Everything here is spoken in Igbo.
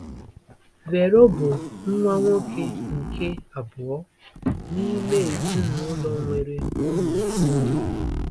Vero bụ nwa nwoke nke abụọ n'ime ezinụlọ nwere ụmụ itoolu.